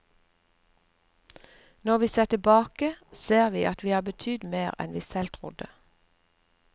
Når vi ser tilbake, ser vi at vi har betydd mer enn vi selv trodde.